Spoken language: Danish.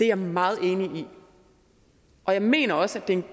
jeg meget enig i og jeg mener også at det er en